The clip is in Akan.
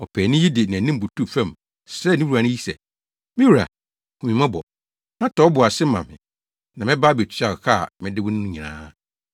“Ɔpaani yi de nʼanim butuw fam, srɛɛ ne wura yi sɛ, ‘Me wura, hu me mmɔbɔ, na tɔ wo bo ase ma me, na mɛba abetua ka a mede wo no nyinaa.’